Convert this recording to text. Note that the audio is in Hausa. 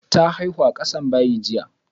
Ta haihu a ƙasan bayi jiya.